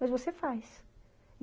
Mas você faz.